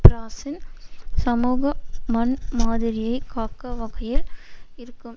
பிராசின் சமூக மன்மாதிரியை காக்க வகையில் இருக்கும்